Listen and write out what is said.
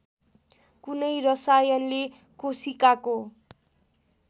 कुनै रसायनले कोशिकाको